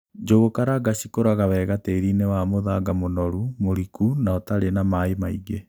Njũgukaranga cikūraga wega tīrinī wa mūthanga mūnoru, mūriku na ūtarī na maī maigī